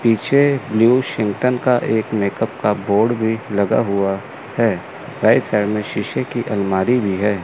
पीछे न्यू शिंतन का एक मेकअप का बोर्ड भी लगा हुआ है राइट साइड में शीशे की अलमारी भी है।